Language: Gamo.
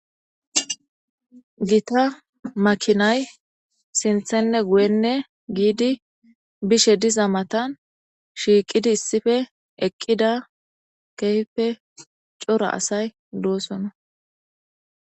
Gita makinayi sintanne guyenne giddi bishe diza matan, shiiqidi issippe eqqida kehippe cora asayi de'osona